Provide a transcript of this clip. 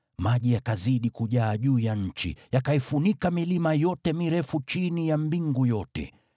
Maji yakazidi kujaa juu ya nchi, yakaifunika milima yote mirefu chini ya mbingu yote.